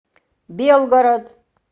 белгород